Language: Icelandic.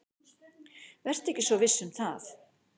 Vertu ekki svo viss um það.